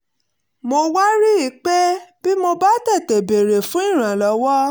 mo wá rí i pé bí mo bá tètè béèrè fún ìrànlọ́wọ́